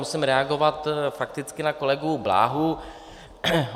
Musím reagovat fakticky na kolegu Bláhu.